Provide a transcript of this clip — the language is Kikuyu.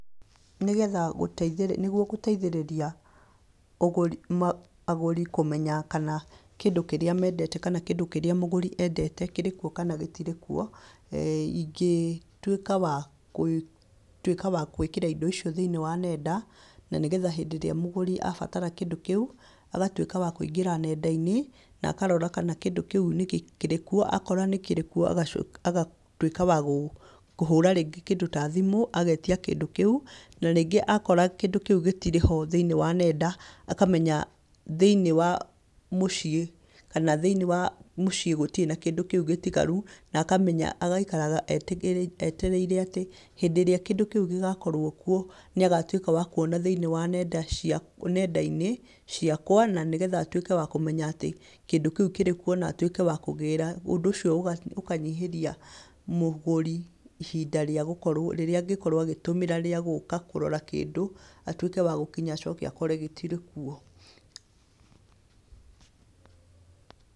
Nĩgetha gũtei nĩguo gũteithĩrĩria ũgũri, agũri kũmenya kana kĩndũ kĩrĩa mendete kana kĩngũ kĩrĩa mũgũri endete kĩrĩ kuo kana gĩtirĩ kuo, ingĩtwĩka wa kwĩ kũtwĩka wa gwĩkĩra indo icio thĩ-inĩ wa nenda, na nígetha hĩndĩ ĩrĩa mũgũri abatara kĩndũ kĩu, agatwĩka wa kũingĩra nenda-inĩ, nakarora kana kĩndũ kĩu níĩĩ kĩrĩ kuo, akorwo kĩrĩ kuo agaco, aga twĩka wa gũ kũhũra rĩngĩ kĩndũ ta thimũ, agetia kĩndũ kĩu, na rĩngĩ akora kĩndũ kĩu gĩtirĩ ho thĩ-inĩ wa nenda, akamenya thĩ-inĩ wa mũciĩ, kana thĩ-inĩ wa mũciĩ gũtirĩ na kĩndũ kíu gĩtigaru, na akamenya, agaikaraga eti etereire atĩ, hĩndĩ ĩrĩa kĩndũ kĩu gĩgakorwo kuo, nĩagatwĩka wa kuona thĩ-inĩ wa nenda cia nenda-inĩ ciakwa, na nĩgetha atwĩke wa kũmenya atĩ, kĩndũ kĩu kĩrĩ kuo na atwĩke wa kũgíra, ũndũ ũcio ũkanyihĩria mũgũri ihinda rĩa gũkorwo rĩrĩa angĩkorwo agĩtũmĩra rĩa gũka kũrora kĩndũ, atwĩke wa gũkinya acoke akore gĩtirĩ kuo .